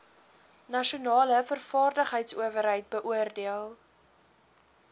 nasionale vaardigheidsowerheid beoordeel